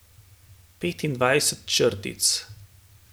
Petindevetdeset črtic.